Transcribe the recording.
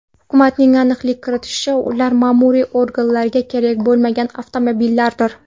Hukumatning aniqlik kiritishicha, ular ma’muriy organlarga kerak bo‘lmagan avtomobillardir.